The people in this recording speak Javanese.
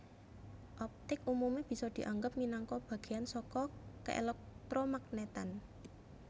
Optik umume bisa dianggep minangka bagéyan saka keelektromagnetan